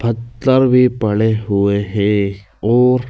पत्तल भी पड़े हुए हैं और--